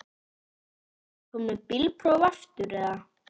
Ertu ekki kominn með bílprófið aftur eða hvað?